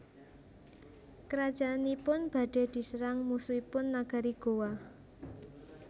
Kerajaanipun badhe diserang musuhipun nagari Gowa